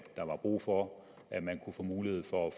der var brug for at man kunne få mulighed for at